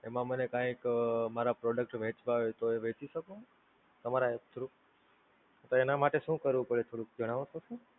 એમાં મને કાંઈક મારા Product વેંચવાં હોય તો એ વેંચી શકું તમારા through app? તો એનાં માટે શું કરવું પડે થોડુંક જણાવસો શું?